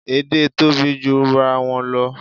Èdè tóbi jurawọn lọ